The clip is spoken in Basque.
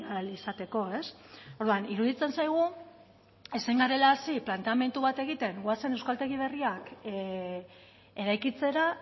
ahal izateko orduan iruditzen zaigu ezin garela hasi planteamendu bat egiten goazen euskaltegi berriak eraikitzera